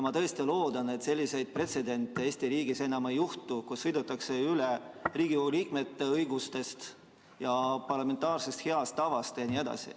Ma tõesti loodan, et selliseid pretsedente Eesti riigis enam ei juhtu, et sõidetakse üle Riigikogu liikmete õigustest ja heast parlamentaarsest tavast.